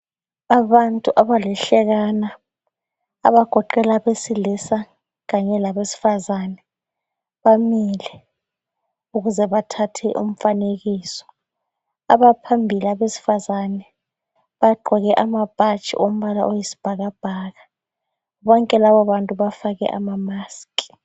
Abantu abalihlekana abagoqela abesilisa kanye labesifazane bamile ukuze bathathe umfanekiso. Abaphambili abesifazane bagqoke amabhatshi ombala oyisibhakabhaka. Bonke lababantu bafake amamask.